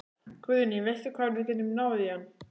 Guðný: Veistu hvar við getum náð í hann?